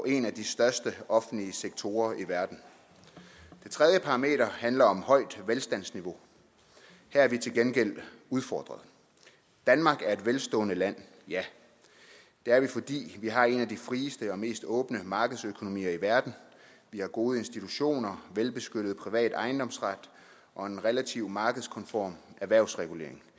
en af de største offentlige sektorer i verden det tredje parameter handler om et højt velstandsniveau her er vi til gengæld udfordret danmark er et velstående land ja det er vi fordi vi har en af de frieste og mest åbne markedsøkonomier i verden vi har gode institutioner velbeskyttet privat ejendomsret og en relativt markedskonform erhvervsregulering